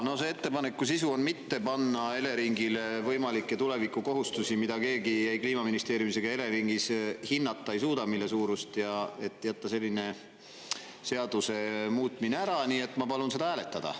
Jaa, no see ettepaneku sisu on mitte panna Eleringile võimalikke tulevikukohustusi, mida keegi ei Kliimaministeeriumis ega Eleringis hinnata ei suuda, mille suurust, et jätta selline seaduse muutmine ära, nii et ma palun seda hääletada.